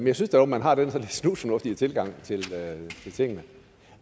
jeg synes dog at man har den der snusfornuftig tilgang til tingene